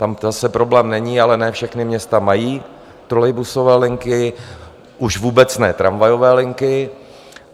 Tam zase problém není, ale ne všechna města mají trolejbusové linky, už vůbec ne tramvajové linky.